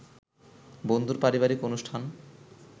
বন্ধুর পারিবারিক অনুষ্ঠান